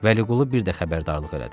Vəliqulu bir də xəbərdarlıq elədi.